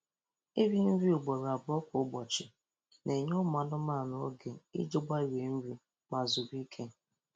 Iri nri ugboro abụọ kwa ụbọchị na-enye ụmụ anụmanụ oge iji gbarie nri ma zuru ike.